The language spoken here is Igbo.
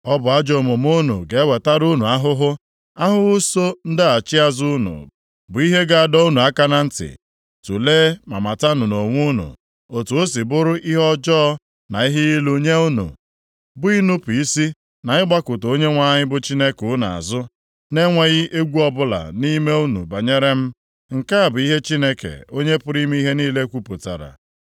Ọ bụ ajọ omume unu ga-ewetara unu ahụhụ; ahụhụ soo ndaghachi azụ unu bụ ihe ga-adọ unu aka na ntị. Tulee ma matanụ nʼonwe unu otu o si bụrụ ihe ọjọọ na ihe ilu nye unu bụ inupu isi na ịgbakụta Onyenwe anyị bụ Chineke unu azụ na-enweghị egwu ọbụla nʼime unu banyere m,” nke a bụ ihe Chineke, Onye pụrụ ime ihe niile, kwupụtara.